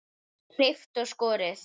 Klippt og skorið.